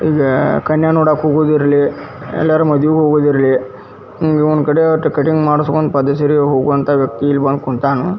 ಇದ ಕನ್ಯಾ ನೋಡಕ್ ಹೋಗೋದ್ ಇರ್ಲಿ ಯಲ್ಲಾರ ಮದುವಿಗ್ ಹೋಗೋದ್ ಇರ್ಲಿ ಹಿಂಗ ಒಂದ್ ಕಡೆ ಅಟ್ ಕಟಿಂಗ್ ಮಾಡಿಸ್ಕೊಂಡ ಪದೆಸರಿ ಹೋಗೋ ವ್ಯಕ್ತಿ ಇಲ್ಲಿ ಬಂದ ಕುಂತಾನ.